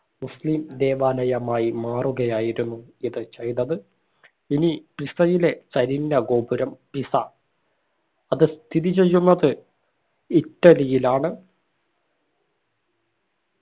മുസ്ലിം ദേവാലയമായി മാറുകയായിരുന്നു ഇത് ചെയ്തത് ഇനി പിസയിലെ ചരിഞ്ഞ ഗോപുരം പൈസ അത് സ്ഥിതി ചെയ്യുന്നത് ഇറ്റലിയിലാണ്